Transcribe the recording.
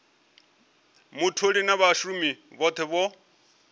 mutholi na vhashumi vhothe vho